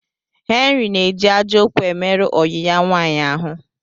Henry na eji ajo okwu emeru oyi ya nwaanyi ahu